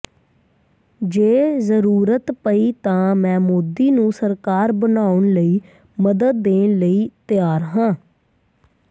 ਜੇ ਜ਼ਰੂਰਤ ਪਈ ਤਾਂ ਮੈਂ ਮੋਦੀ ਨੂੰ ਸਰਕਾਰ ਬਣਾਉਣ ਲਈ ਮਦਦ ਦੇਣ ਲਈ ਤਿਆਰ ਹਾਂ